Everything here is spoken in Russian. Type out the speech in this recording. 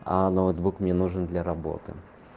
а ноутбук мне нужен для работы